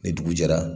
Ni dugu jɛra